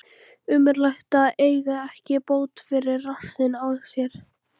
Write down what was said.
Ömurlegt að eiga ekki bót fyrir rassinn á sér.